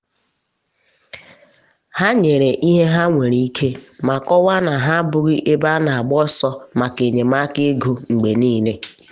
ha nyere ihe ha nwere ike ma kọwaa na ha abụghị ebe a na agba ọsọ maka enyemaka ego mgbe niile.